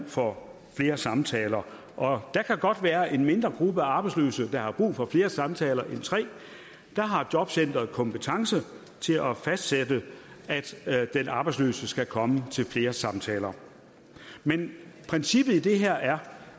for flere samtaler og der kan godt være en mindre gruppe af arbejdsløse der har brug for flere samtaler end tre har jobcenteret kompetence til at fastsætte at den arbejdsløse skal komme til flere samtaler men princippet i det her er